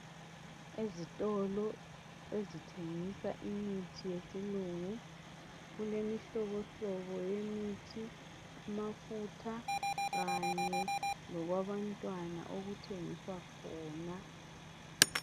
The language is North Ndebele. Ezitolo ezithengisa imithi yesilungu. Kulemihlobohlobo yemithi, amafutha kanye lokwabantwana okuthengiswa khona.